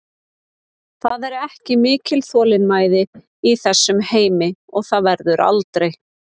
Það er ekki mikil þolinmæði í þessum heimi og það verður aldrei.